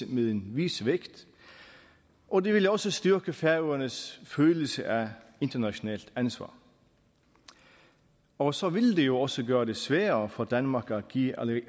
med en vis vægt og det ville også styrke færøernes følelse af internationalt ansvar og så ville det jo også gøre det sværere for danmark at give